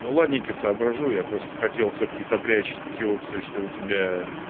ну ладненько соображу я просто хотел всё-таки сопрячь те опции что у тебя